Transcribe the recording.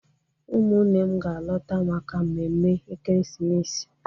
Ụmụnne m ga-alọta maka mmemme ekeresimesi